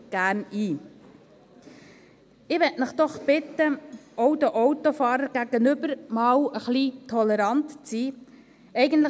Ich möchte Sie doch bitten, auch den Autofahrern gegenüber einmal ein wenig tolerant zu sein.